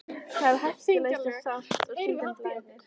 Það er hættulaust en sárt og stundum blæðir.